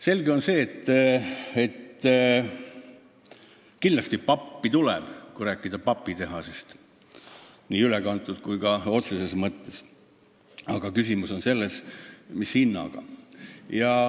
Selge on see, et kindlasti pappi tuleb, kui rääkida papitehasest nii ülekantud kui ka otseses mõttes, aga küsimus on selles, mis hinnaga.